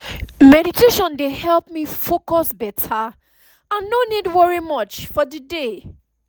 meditation dey help me focus beta and no need worry much for the day